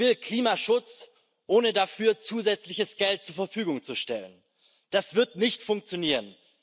Sie will Klimaschutz, ohne dafür zusätzliches Geld zur Verfügung zu stellen. Das wird nicht funktionieren.